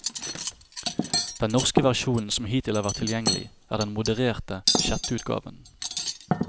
Den norske versjonen som hittil har vært tilgjengelig, er den modererte sjetteutgaven.